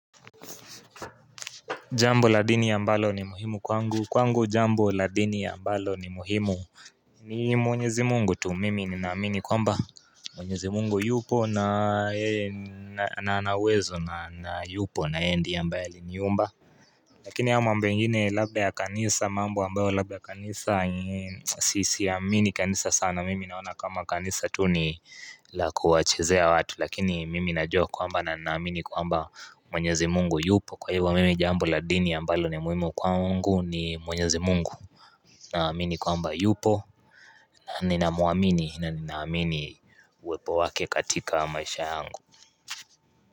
Jambo la dini ambalo ni muhimu kwangu, kwangu jambo la dini ambalo ni muhimu ni mwenyezi mungu tu mimi ni naamini kwa mba mwenyezi mungu yupo na anawezo na yupo na yeye ndiye ambaye aliniumba Lakini ya mambo ingine labda ya kanisa mambo ambayo labda kanisa Sisiamini kanisa sana mimi naona kama kanisa tu ni la kuwachezea watu Lakini mimi najua kwa mba na naamini kwa mba mwenyezi mungu yupo kwa hivyo mimi jambo la dini ambalo ni muimu kwa mungu ni mwenyezi mungu Naamini kwa mba yupo na ninaamuamini na ninaamini uwepo wake katika maisha yangu.